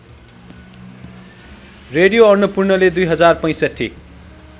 radio अन्नपूर्णले २०६५